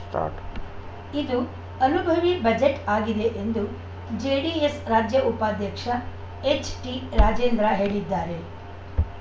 start ಇದು ಅನುಭವಿ budget ಆಗಿದೆ ಎಂದು ಜೆಡಿಎಸ್‌ ರಾಜ್ಯ ಉಪಾಧ್ಯಕ್ಷ ಎಚ್‌ಟಿ ರಾಜೇಂದ್ರ ಹೇಳಿದ್ದಾರೆ